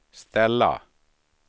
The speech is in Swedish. ställa